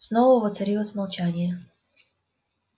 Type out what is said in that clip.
снова воцарилось молчание